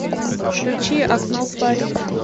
включи окно в париж